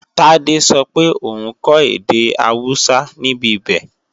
Tádé sọ pé òun kọ́ èdè Awúsá níbibẹ̀